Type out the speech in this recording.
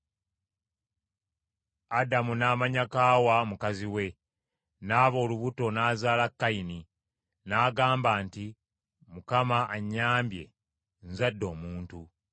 Adamu n’amanya Kaawa, mukazi we, n’aba olubuto n’azaala Kayini n’agamba nti, “ Mukama annyambye nzadde omuntu.”